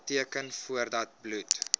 teken voordat bloed